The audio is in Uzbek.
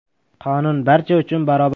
“Qonun barcha uchun barobar”.